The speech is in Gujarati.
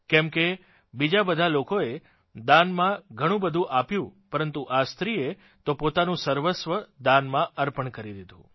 કેમકે બીજા બધા લોકોએ દાનમાં ઘણું બધું આપ્યું પરંતુ આ સ્ત્રીએ તો પોતાનું સર્વસ્વ દાનમાં અર્પણ કરી દીધું